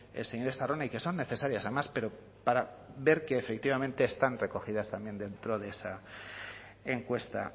planteado el señor estarrona y que son necesarias además pero para ver que efectivamente están recogidas también dentro de esa